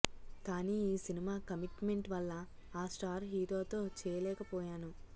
కానీ ఈ cinema commitment వల్ల ఆ స్టార్ హీరోతో చేయలేకపోయాను